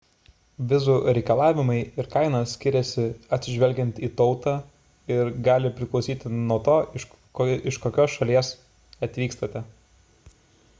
vizų reikalavimai ir kaina skiriasi atsižvelgiant į tautą ir gali priklausyti nuo to iš kokios šalies atvykstate